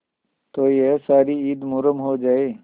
तो यह सारी ईद मुहर्रम हो जाए